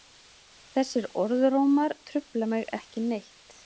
Þessir orðrómar trufla mig ekki neitt.